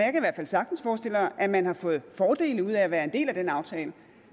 fald sagtens forestille mig at man har fået fordele ud af at være en del af en aftale